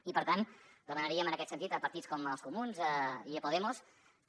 i per tant demanaríem en aquest sentit a partits com els comuns i a podemos que